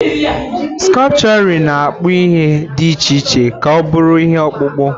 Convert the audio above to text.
Skupturịn na-akpụ ihe dị iche iche ka ọ bụrụ ihe ọkpụkpụ.